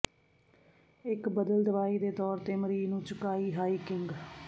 ਇੱਕ ਬਦਲ ਦਵਾਈ ਦੇ ਤੌਰ ਤੇ ਮਰੀਜ਼ ਨੂੰ ਚੁਕਾਈ ਹਾਈਕਿੰਗ